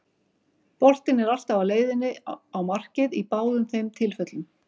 Boltinn er alltaf á leiðinni á markið í báðum þeim tilfellum.